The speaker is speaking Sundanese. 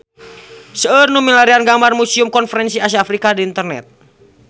Seueur nu milarian gambar Museum Konferensi Asia Afrika di internet